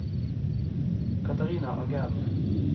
Katarina Angell